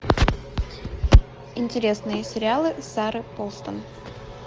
интересные сериалы сары полсон